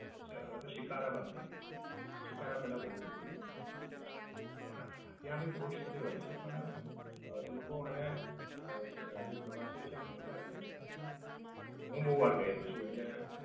છે હવે તો સિખારા બંધ થાય ગઈ છે. સિખારા પેલા બોવ ફૂટતી તી. પણ ત્યાંથી બોટ્સ બધી બવ હોય છે પણ અમ એ લોકો અને અમ જે પ્રવાસીયો હોય છે એમને મજા ભી આવે છે. પણ, હું બોવ વાર ગયેલો છું એટલે